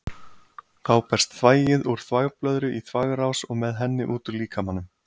Þá berst þvagið úr þvagblöðru í þvagrás og með henni út úr líkamanum.